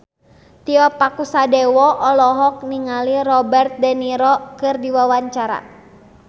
Tio Pakusadewo olohok ningali Robert de Niro keur diwawancara